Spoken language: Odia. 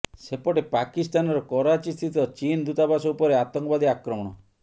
ସେପଟେ ପାକିସ୍ତାନର କରାଚୀସ୍ଥିତ ଚୀନ୍ ଦୂତାବାସ ଉପରେ ଆତଙ୍କବାଦୀ ଆକ୍ରମଣ